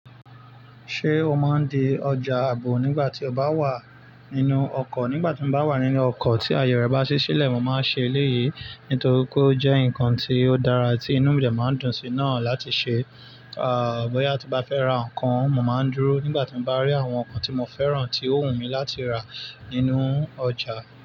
Ṣé o máa ń di ọjà ààbò nígbà tí o bá wà nínú ọkọ̀? Nígbà tí mo bá wà nínú ọkọ̀ tí àyè rẹ̀ bá sì silẹ̀, mo máa ń ṣe eléyìí nítorí kó jẹ́ ǹkan tí ó dára tí inú mi dà máa ń dùn sí náà láti ṣe. Ah! Bóyá tí bá fẹ́ ra ǹkan, mo máa ń dúró nígbà tí mo bá rí àwọn ǹkan tí mo fẹ́ràn tí ó wù mí láti rà nínú ọjà.